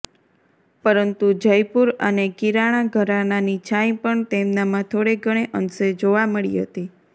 પરંતુ જયપુર અને કિરાણા ઘરાનાની છાંય પણ તેમનામાં થોડે ઘણે અંશે જોવા મળી હતી